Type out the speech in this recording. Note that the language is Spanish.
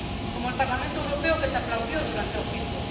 Como el Parlamento Europeo, que te aplaudió durante el juicio.